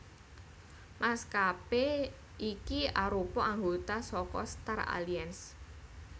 Maskapé iki arupa anggota saka Star Alliance